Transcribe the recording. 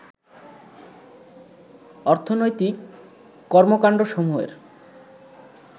অর্থনৈতিক কর্মকান্ডসমূহের